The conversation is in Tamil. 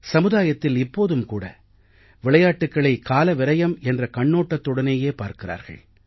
சமுதாயத்தில் இப்போதும் கூட விளையாட்டுக்களை காலவிரயம் என்ற கண்ணோட்டத்துடனேயே பார்க்கிறார்கள்